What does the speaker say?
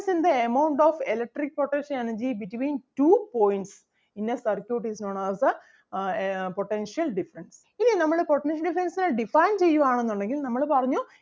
in the amount of electric potential energy between two points in a circuit is known as the uh ah potential difference. ഇനി നമ്മള് potential difference നെ define ചെയ്യുവാണെന്ന് ഉണ്ടെങ്കിൽ നമ്മള് പറഞ്ഞു,